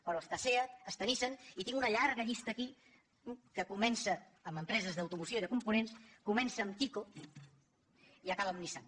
però hi ha seat hi ha nissan i tinc una llarga llista aquí que comença amb empreses d’automoció i de components comença amb tyco i acaba amb nissan